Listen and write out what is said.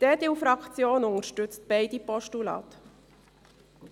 Die EDU-Fraktion unterstützt beide Postulate.